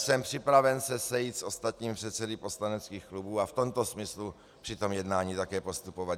Jsem připraven se sejít s ostatními předsedy poslaneckých klubů a v tomto smyslu při tom jednání také postupovat.